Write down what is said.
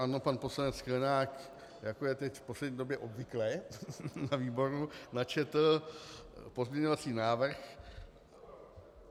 Ano, pan poslanec Sklenák, jako je teď v poslední době obvyklé na výboru, načetl pozměňovací návrh.